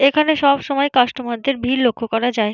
এখানে সবসময় কাস্টমার -দের ভিড় লক্ষ্য করা যায়।